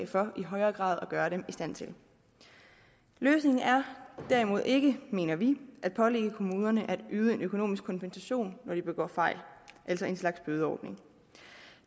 for i højere grad at gøre dem i stand til løsningen er derimod ikke mener vi at pålægge kommunerne at yde en økonomisk kompensation når de begår fejl altså en slags bødeordning